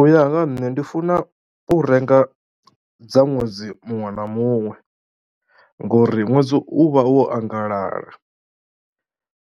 U ya nga ha nṋe ndi funa u renga dza ṅwedzi muṅwe na muṅwe ngori ṅwedzi u vha wo anganala.